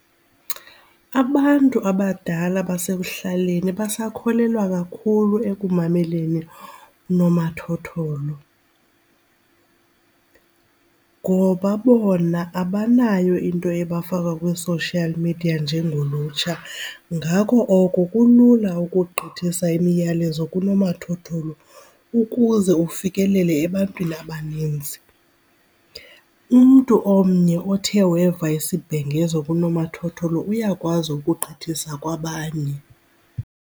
Abantu abadala basekuhlaleni basakholelwa kakhulu ekumameleni unomathotholo ngoba bona abanayo into ebafaka kwi-social media njengolutsha. Ngako oko kulula ukugqithisa imiyalezo kunomathotholo ukuze ufikelele ebantwini abaninzi. Umntu omnye othe weva isibhengezo kunomathotholo uyakwazi ukugqithisa kwabanye.